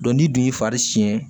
ni dun y'a siɲɛ